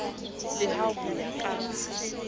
le ha ho ya ka